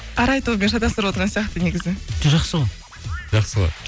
арай тобымен шатастырып отырған сияқты негізі жоқ жақсы ғой жақсы ғой